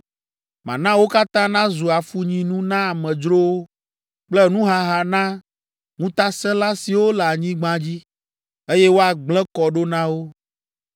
Mana wo katã nazu afunyinu na amedzrowo kple nuhaha na ŋutaselã siwo le anyigba dzi, eye woagblẽ kɔ ɖo na wo.